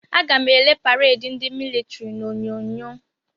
Aga m ele pareedi ndị militiri n'Onyonyo.